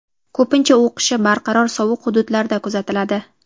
ko‘pincha u qishi barqaror sovuq hududlarda kuzatiladi.